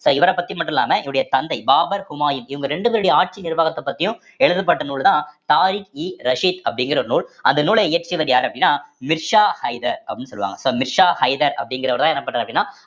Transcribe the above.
so இவரைப் பத்தி மட்டும் இல்லாம இவருடைய தந்தை பாபர் ஹுமாயூன் இவங்க ரெண்டு பேருடைய ஆட்சி நிர்வாகத்தைப் பத்தியும் எழுதப்பட்ட நூல்தான் தாரிக்-இ-ரஷிதி அப்படிங்கிற நூல் அந்த நூலை இயற்றியவர் யாரு அப்படின்னா மிர்சா ஹைதர் அஹ் சொல்லுவாங்க so மிர்சா ஹைதர் அப்படிங்கிறவர்தான் என்ன பண்றாரு அப்படின்னா